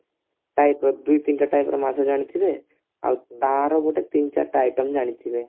type ର ଦୁଇତିନିଟା type ର ମାଛ ଜାଣିଥିବେ ଆଉ ତାର ଗୋଟେ ତିନିଚାରିଟା item ଜାଣିଥିବେ